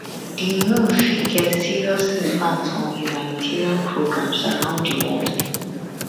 di move fit get serious impact on humanitarian programmes around di world